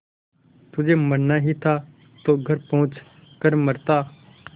तुझे मरना ही था तो घर पहुँच कर मरता